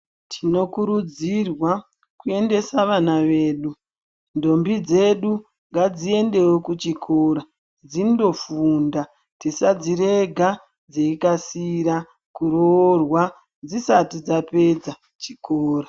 Tinokurudzirwa kuendesa vana vedu ntombi dzedu ngadziendewo kuchikora dzindofunda tisadzirega dzeyikasira kuroorwa dzisati dzapedza chikora.